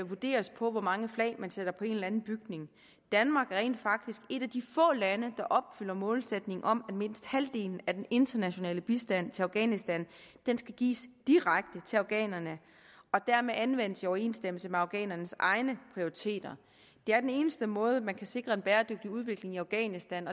vurderes på hvor mange flag man sætter på en eller anden bygning danmark er rent faktisk et af de få lande der opfylder målsætningen om at mindst halvdelen af den internationale bistand til afghanistan skal gives direkte til afghanerne og dermed anvendes i overensstemmelse med afghanernes egne prioriteter det er den eneste måde man kan sikre en bæredygtig udvikling i afghanistan